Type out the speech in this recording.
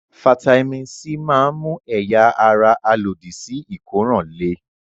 Fataímìn C máa ń mú ẹ̀yà-ara alòdì-sí-ìkóràn le.